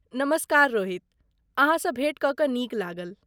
नमस्कार रोहित, अहाँसँ भेँट कऽ कऽ नीक लागल।